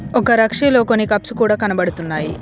ఒక రక్షిలో కొన్ని కప్స్ కూడా కనబడుతున్నాయి.